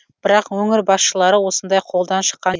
бірақ өңір басшылары осындай қолдан шыққан